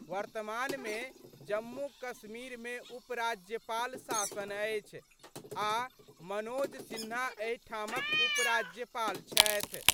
वर्तमान मे जम्मू कश्मीर मे उपराज्यपाल शासन अछि आ मनोज सिन्हा एहि ठामक उपराज्यपाल छथि।